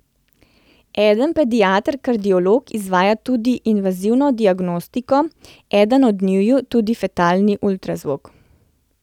Eden pediater kardiolog izvaja tudi invazivno diagnostiko, eden od njiju tudi fetalni ultrazvok.